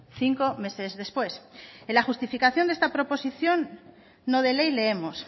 cinco meses después en la justificación de esta proposición no de ley leemos